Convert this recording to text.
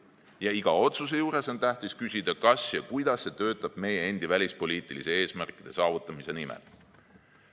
Ja iga otsuse juures on tähtis küsida, kas ja kuidas see töötab meie endi välispoliitiliste eesmärkide saavutamise nimel.